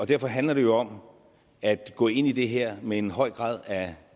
derfor handler det jo om at gå ind i det her med en høj grad af